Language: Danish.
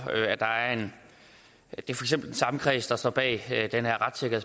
eksempel den samme kreds der står bag den her aftale